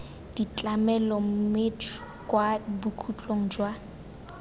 ditlamelo mme kwa bokhutlong jwa